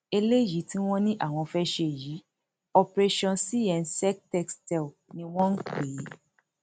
eléyìí tí wọn ní àwọn fẹẹ ṣe yìí operation cnsectestelle ni wọn pè é